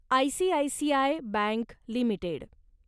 ICICI bank limited